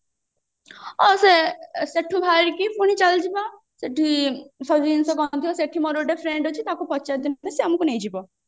ଅ ସେ ସେଠୁ ବାହାରିକି ପୁଣି ଚାଲିଯିବା ସେଠି ସବୁ ଜିନିଷ କମ ରେ ଥିବ ସେଠି ମୋର ଗୋଟେ friend ଅଛି ତାକୁ ପଚାରିଦେଲେ ସେ ଆମକୁ ନେଇଯିବ